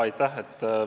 Aitäh!